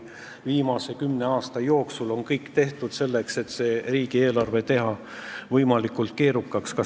Viimase kümne aasta jooksul on ju tehtud kõik selleks, et riigieelarve võimalikult keerukaks muuta.